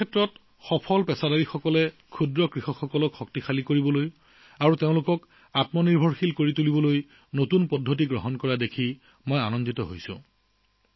বিভিন্ন ক্ষেত্ৰত সফল পেছাদাৰীসকলে ক্ষুদ্ৰ কৃষকসকলক সৱল কৰি স্বাৱলম্বী কৰি তোলাৰ বাবে উদ্ভাৱনী পদ্ধতি গ্ৰহণ কৰা দেখি মই অতি আনন্দিত অনুভৱ কৰিছো